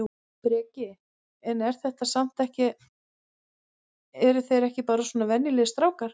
Breki: En er þetta samt ekki eru þeir ekki bara svona venjulegir strákar?